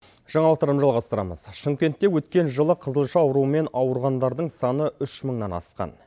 жаңалықтарымызды жалғастырамыз шымкентте өткен жылы қызылша ауруымен ауырғандардың саны үш мыңнан асқан